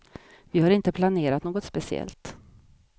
Vi har inte planerat något speciellt.